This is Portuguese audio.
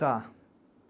Tá.